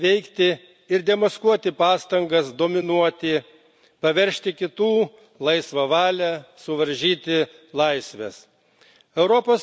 Būtina aktyviai veikti ir demaskuoti pastangas dominuoti, paveržti kitų laisvą valią, suvaržyti laisves.